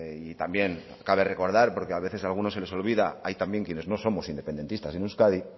y también cabe recordar porque a veces alguno se les olvida hay también quienes no somos independentistas en euskadi